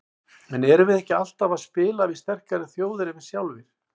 En erum við ekki alltaf að spila við sterkari þjóðir en við sjálfir?